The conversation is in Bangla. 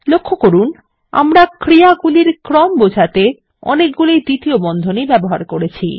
লক্ষ্য করুন আমরা ক্রিয়াগুলির ক্রম বোঝাতে অনেকগুলি দ্বিতীয় বন্ধনী ব্যবহার করেছি